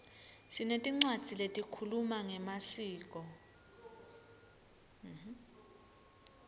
sinetincwadzi letikhuluma ngemaskco